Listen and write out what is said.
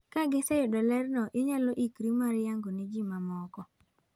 Ka giseyudo lerno, inyalo yikri mar yango ne ji ma moko."